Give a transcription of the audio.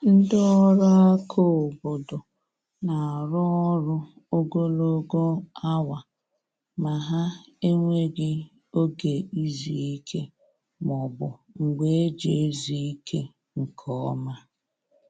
Ndị ọrụ aka obodo na-arụ ọrụ ogologo awa, ma ha enweghi oge izu ike ma ọ bụ mgbe eji ezu ike nke ọma